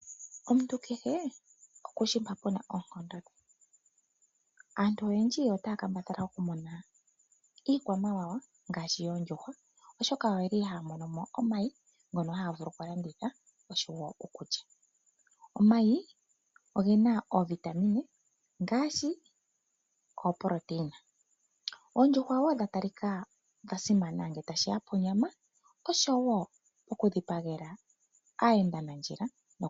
Omuntu kehe okushi mpa puna oonkondo dhe. Aantu oyendji otaya kambadhala okumuna iikwamawawa ngaashi oondjuhwa, oshoka oyeli haya mono mo omayi ngono haya vulu okulanditha oshowo okulya. Omayi ogena oovitamine ngaashi oproteina. Oondjuhwa wo dha talika dhasimana ngele tashiya ponyama, oshowo oku dhipagela aayendanandjila.